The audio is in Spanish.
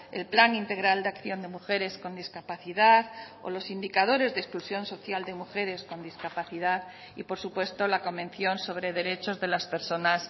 el plan integral de acción de mujeres con discapacidad o los indicadores de exclusión social de mujeres con discapacidad y por supuesto la convención sobre derechos de las personas